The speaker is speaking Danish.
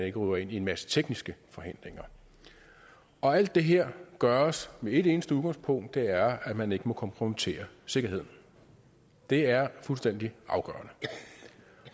ikke ryger ind i en masse tekniske forhindringer alt det her gøres med et eneste udgangspunkt og det er at man ikke må kompromittere sikkerheden det er fuldstændig afgørende